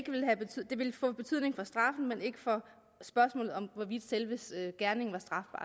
ville få betydning for straffen men ikke for spørgsmålet om hvorvidt selve gerningen